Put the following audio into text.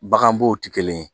Baganbow te kelen ye